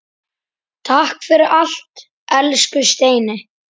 Takk fyrir allt, elsku Steini.